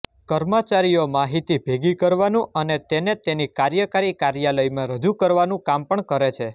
કર્મચારીઓ માહિતી ભેગી કરવાનું અને તેને તેની કાર્યકારી કાર્યાલયમાં રજૂ કરવાનું કામ પણ કરે છે